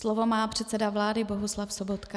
Slovo má předseda vlády Bohuslav Sobotka.